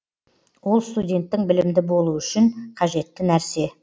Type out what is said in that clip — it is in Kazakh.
ол студенттің білімді болуы үшін қажетті нәрсе